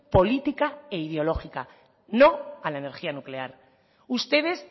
política e ideológica no a la energía nuclear ustedes